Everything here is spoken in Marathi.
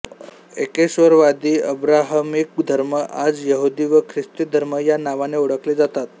एकेश्वरवादी अब्राहमिक धर्म आज यहुदी व ख्रिस्ती धर्म या नावांनी ओळखले जातात